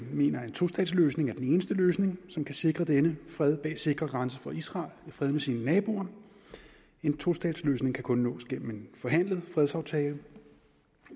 mener at en tostatsløsning er den eneste løsning som kan sikre denne fred bag sikre grænser for israel i fred med sine naboer en tostatsløsning kan kun nås gennem en forhandlet fredsaftale